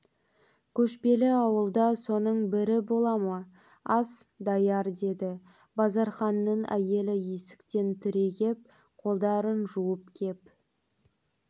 көшпелі ауылда соның бірі бола ма ас даяр деді базарханның әйелі есіктен түрегеп қолдарын жуып кеп